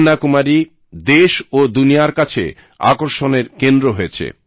কন্যাকুমারী দেশ ও দুনিয়ার কাছে আকর্ষণের কেন্দ্র হয়েছে